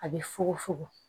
A bɛ fugu fugu